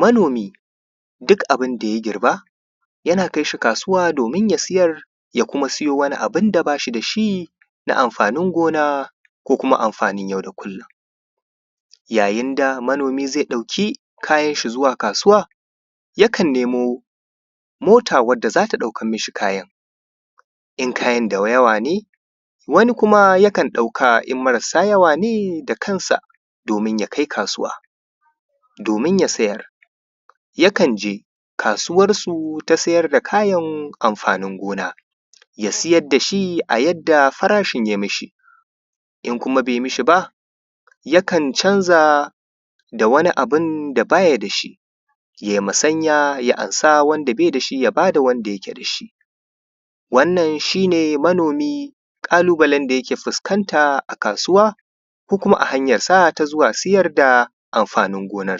Manomi duk abun da ya girba Yana kai shi kasuwa domin ya sayar ya kuma sayo wani abun da ba shi da shi na amfanin gona wanda ko kuma amfanin yau da kullum. Yayin da manomi zai ɗauki kayan shi zuwa kasuwa yakan nemo mota wanda za ta ɗaukar mi shi kayan in kayan da yawa ne. Wani kuma yakan ɗauka in marasa yawa ne da kansa domin ya kai kasuwa domin ya sayar yakan je kasuwarsu ta sayar da kayan amfanin gona ya sayar da shi a yadda farashin ya yi mi shi, in kuma bai mi shi ba yakan canza da wani abu da ba ya da shi yai musanya ya amsa wanda bai da shi ya ba da wanda yake da shi. Wannan shi ne manomi da ƙalubalen da yake fuskanta a kasuwa ko kuma a hanyar sa ta siyar da amfanin gona..